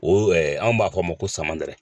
O ɛɛ an b'a fɔ a ma ko samanɛrɛ.